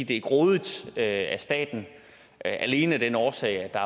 det er grådigt af staten alene af den årsag at der